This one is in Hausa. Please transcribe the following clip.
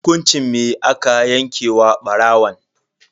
Hukunci me aka yanke wa barawon?